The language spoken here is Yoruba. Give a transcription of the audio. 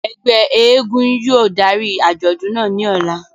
Ẹgbẹ èègún yóò dari ajọdun naa ni ọla.